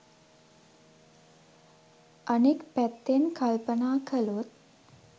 අනෙක් පැත්තෙන් කල්පනා කළොත්